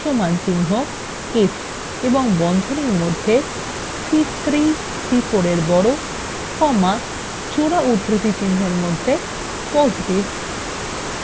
সমানচিহ্ন if এবং বন্ধনীর মধ্যে c3 c4 –এর বড় comma জোড়া উদ্ধৃতিচিনহের মধ্যে positive